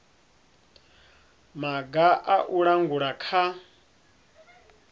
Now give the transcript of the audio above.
maga a u langula kha